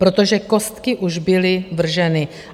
Protože kostky už byly vrženy.